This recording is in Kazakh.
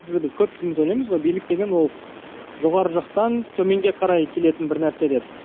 көпшілігіміз ойлаймыз ғой билік деген ол жоғары жақтан төменге қарай келетін бір нәрсе деп